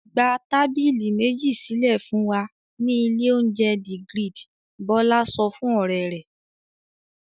"Gba tábìlì méjì sílẹ̀ fún wa ní ilé-oúnjẹ The Grid!" Bọ́lá sọ fún ọ̀rẹ́ rẹ̀.